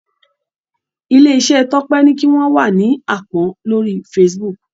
ilé iṣé Tope ní kí wón wá ní àpón lórí Facebook.